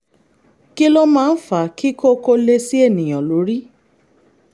kí ló máa ń fa kí kókó lé sí ènìyàn lórí?